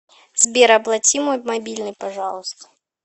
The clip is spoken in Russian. сбер оплати мой мобильный пожалуйста